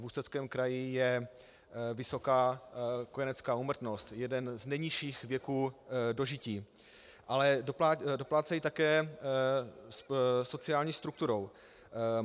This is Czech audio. V Ústeckém kraji je vysoká kojenecká úmrtnost, jeden z nejnižších věků dožití, ale doplácejí také sociální strukturou.